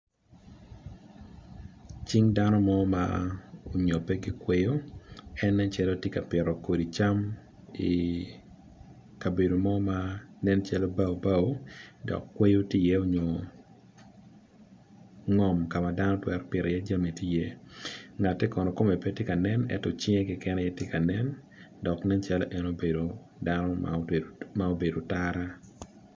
Cing dano mo ma onyope ki kweyo en nen calo tye ka pito kodi cam i kabedo mo ma nen calo bao bao dok kweyo tye i iye nyo ngom ka ma dano twero pito jami tye i iye ngate kono kome pe tye ka nen ento cinge keken aye tye kanen dok nen calo en obedo dano ma obedo otara.